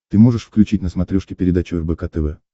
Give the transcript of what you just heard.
ты можешь включить на смотрешке передачу рбк тв